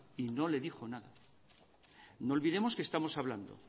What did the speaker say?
y no le dijo nada no olvidemos que estamos hablando